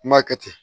N m'a kɛ ten